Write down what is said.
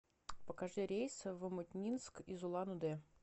покажи рейс в омутнинск из улан удэ